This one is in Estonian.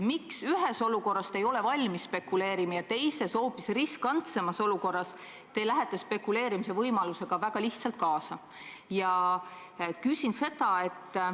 Miks te ühes olukorras ei ole valmis spekuleerima, aga teises, hoopis riskantsemas olukorras lähete spekuleerimise võimalusega väga lihtsalt kaasa?